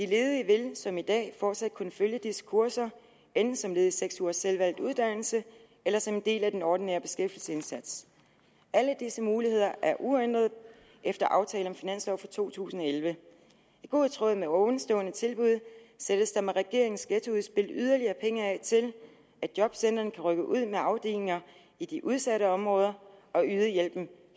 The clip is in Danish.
de ledige vil som i dag fortsat kunne følge disse kurser enten som led i seks ugers selvvalgt uddannelse eller som en del af den ordinære beskæftigelsesindsats alle disse muligheder er uændrede efter aftale om finanslov for to tusind og elleve i god tråd med ovenstående tilbud sættes der med regeringens ghettoudspil yderligere penge af til at jobcentrene kan rykke ud med afdelinger i de udsatte områder og yde hjælpen